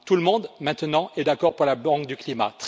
Tout le monde, maintenant, est d'accord pour la banque du climat.